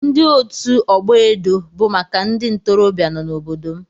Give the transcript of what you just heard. Ndi otu ọgbọ edo bụ maka ndị ntorobịa nọ n'obodo m.